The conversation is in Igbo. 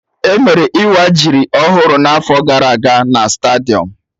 Emere Ịwa jiri ọhụrụ na'afọ gara aga na stadium